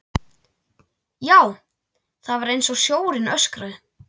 Já, það var einsog sjórinn öskraði.